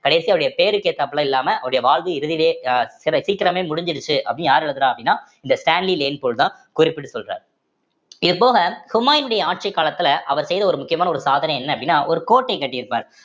கடைசியா அவருடைய பேருக்கு ஏத்தாப்ல இல்லாம அவருடைய வாழ்வு இறுதியிலயே அஹ் சீக்கிரமே முடிஞ்சிருச்சு அப்படின்னு யாரு எழுதுறா அப்படின்னா இந்த ஸ்டேன்லி லேன் ஃபூல் தான் குறிப்பிட்டு சொல்றாரு இது போக ஹுமாயினுடைய ஆட்சிக் காலத்துல அவர் செய்த ஒரு முக்கியமான ஒரு சாதனை என்ன அப்படின்னா ஒரு கோட்டை கட்டி இருப்பார்